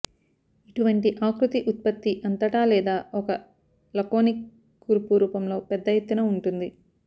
ఇటువంటి ఆకృతి ఉత్పత్తి అంతటా లేదా ఒక లకోనిక్ కూర్పు రూపంలో పెద్ద ఎత్తున ఉంటుంది